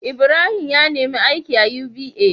Ibrahim ya nemi aiki a UBA